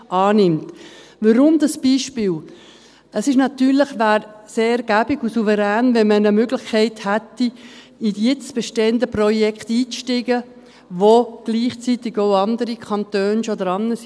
Weshalb dieses Beispiel? – Es wäre natürlich sehr angenehm und souverän, wenn man eine Möglichkeit hätte, in die jetzt bestehenden Projekte einzusteigen, an denen gleichzeitig schon andere Kantone und Städte arbeiten.